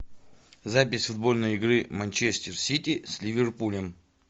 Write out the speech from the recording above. запись футбольной игры манчестер сити с ливерпулем